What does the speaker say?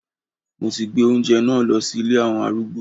Mo ti gbé oúnjẹ náà lọ sí ilé àwọn arúgbó.